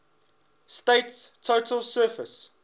state's total surface